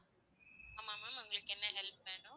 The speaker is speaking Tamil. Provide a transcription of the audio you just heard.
ஆமா ma'am உங்களுக்கு என்ன help வேணும்?